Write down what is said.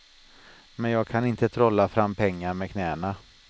Men jag kan inte trolla fram pengar med knäna.